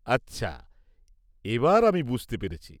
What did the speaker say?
আচ্ছা, এবার আমি বুঝতে পেরেছি।